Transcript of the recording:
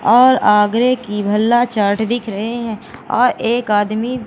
और आगे की भल्ला चाट दिख रहे हैं और एक आदमी--